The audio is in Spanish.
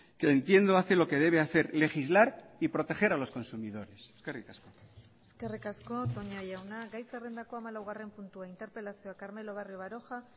que entiendo hace lo que debe hacer legislar y proteger a los consumidores eskerrik asko eskerrik asko toña jauna gai zerrendako hamalaugarren puntua interpelazioa carmelo barrio baroja